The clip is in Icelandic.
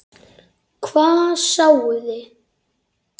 Hvað sáuði?